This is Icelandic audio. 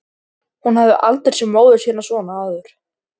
Hún hafði aldrei séð móður sína svona áður.